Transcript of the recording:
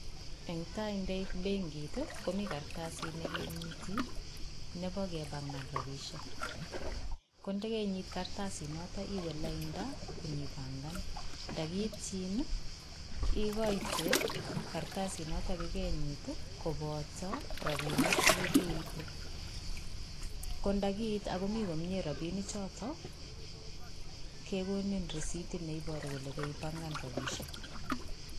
Netai ingeit benkii komi kartasiit nekinyite, Nebo kepangaan rabisiek, koyon keinyiit kartasiit notok iwendi lainda ibangaan, yekiityiin I ikoite kartasit notet kokenyiit I kobotoo rabinik chekokeib. Kondakiite ak komi komie rabinichotok kekoni risitit neiboru kole keipangaan rabisiek